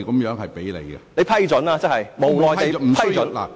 即你會批准或無奈地批准？